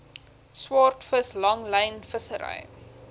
swaardvis langlyn vissery